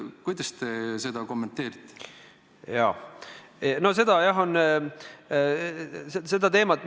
Kuidas te seda kommenteerite?